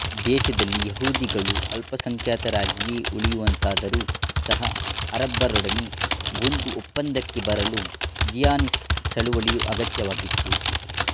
ದೇಶದಲ್ಲಿ ಯಹೂದಿಗಳು ಅಲ್ಪಸಂಖ್ಯಾತರಾಗಿಯೇ ಉಳಿಯುವಂತಾದರೂ ಸಹ ಅರಬರೊಡನೆ ಒಂದು ಒಪ್ಪಂದಕ್ಕೆ ಬರಲು ಝಿಯಾನಿಸ್ಟ್ ಚಳುವಳಿ ಅಗತ್ಯವಾಗಿತ್ತು